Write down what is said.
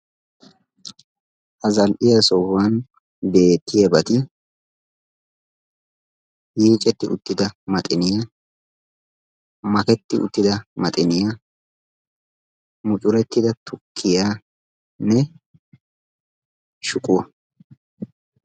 Ha zal'iyaa sohuwaani beettiyabati yiiccetti uttidda maxiniyaa, maketti uttida maxiniyaa, muccuretida tukkiyanne shuquwaa.